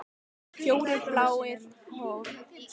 Fjórir bláir horfnir út í veður og vind!